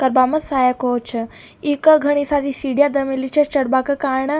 कबामा साया कोच छह ईका घनी सारी सिडिया दे मेलि छे चढ़बा के कारणा --